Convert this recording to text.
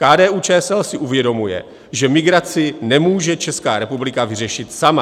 KDU-ČSL si uvědomuje, že migraci nemůže Česká republika vyřešit sama.